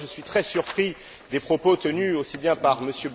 C'est pourquoi je suis très surpris des propos tenus, aussi bien par M.